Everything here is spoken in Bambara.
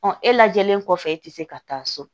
e lajɛlen kɔfɛ e tɛ se ka taa so